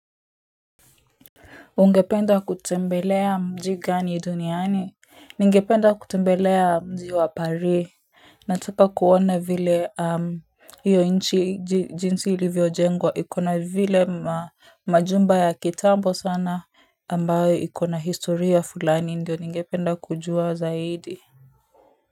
Ungependa kutembelea mji gani duniani? Ningependa kutembelea mji wa Paris. Nataka kuone vile hiyo nchi jinsi ilivyo jengwa ikona vile majumba ya kitambo sana ambayo ikona historia fulani ndio ningependa kujuwa zaidi. Muziki.